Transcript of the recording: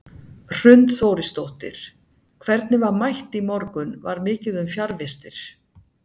Hrund Þórisdóttir: Hvernig var mætt í morgun, var mikið um fjarvistir?